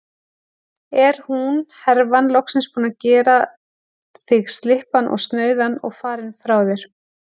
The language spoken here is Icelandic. Er hún, herfan, loksins búin að gera þig slyppan og snauðan og farin frá þér?